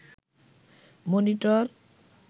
monitor